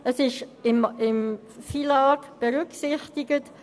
Der Transport ist im FILAG berücksichtigt.